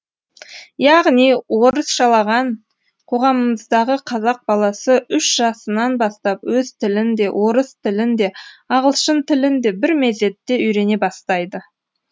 яғни орысшаланған қоғамымыздағы қазақ баласы үш жасынан бастап өз тілін де орыс тілін де ағылшын тілін де бірмезетте үйрене бастайды